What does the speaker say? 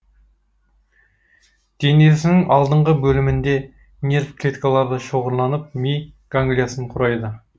денесінің алдыңғы бөлімінде нерв клеткалары шоғырланып ми ганглиясын құрайды